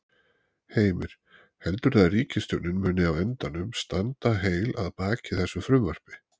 Heimir: Heldurðu að ríkisstjórnin muni á endanum standa heil að baki þessu frumvarpi?